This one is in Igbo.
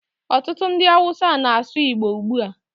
Ọtụtụ ndị Awụsa na-asụ Igbo ugbu a.